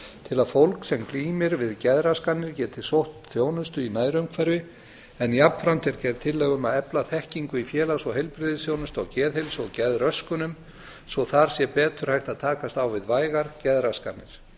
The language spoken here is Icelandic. til að fólk sem glímir við geðraskanir geti sótt þjónustu í nærumhverfi en jafnframt er gerð tillaga um að efla þekkingu í félags og heilbrigðisþjónustu á geðheilsu og geðröskunum svo þar sé betur hægt að takast á við vægar geðraskanir